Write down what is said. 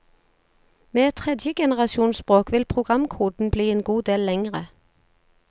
Med et tredjegenerasjonsspråk vil programkoden bli en god del lengre.